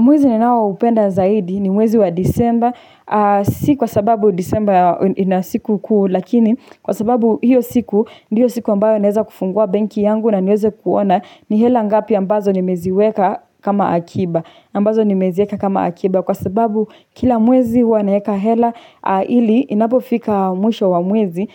Mwezi ninao upenda zaidi ni mwezi wa disemba, si kwa sababu disemba inasiku kuu, lakini kwa sababu hiyo siku, ndiyo siku ambayo naeza kufungua banki yangu na niweze kuona ni hela ngapi ambazo nimeziweka kama akiba, ambazo nimeziweka kama akiba kwa sababu kila mwezi huwanaeka hela ili inapo fika mwisho wa mwezi